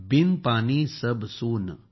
बिन पानी सब सून